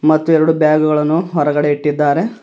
ಮತ್ತು ಎರಡು ಬ್ಯಾಗುಗಳನ್ನು ಹೊರಗಡೆ ಇಟ್ಟಿದ್ದಾರೆ.